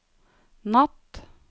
natt